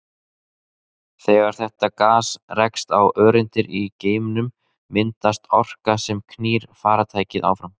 Þegar þetta gas rekst á öreindir í geimnum myndast orka sem knýr farartækið áfram.